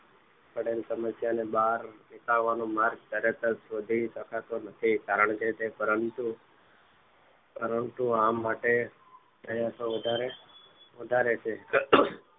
પડેલ સમસ્યા ને બહાર નીકળવાનો માર્ગ તરત જ શોધી શકાતો નથી કારણ કે તે પરંતુ પરંતુ આ માટે પ્રયત્નો વધારે છે